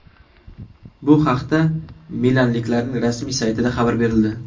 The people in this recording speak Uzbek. Bu haqda milanliklarning rasmiy saytida xabar berildi .